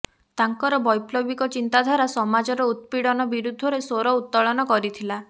ତାଙ୍କର ବୈପ୍ଳବିକ ଚିନ୍ତାଧାରା ସମାଜର ଉତ୍ପୀଡ଼ନ ବିରୁଦ୍ଧରେ ସ୍ୱର ଉତ୍ତୋଳନ କରିଥିଲା